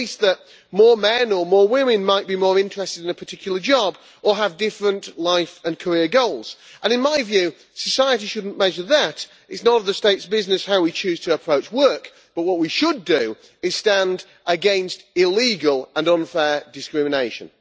Not least that more men or more women might be more interested in a particular job or have different life and career goals, and in my view society should not measure that it is none of the state's business how we choose to approach work but what we should do is stand against illegal and unfair discrimination.